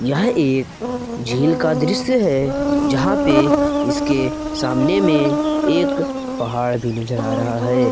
यह एक झील का दृश्य है जहां पे इसके सामने में एक पहाड़ भी नजर आ रहा है।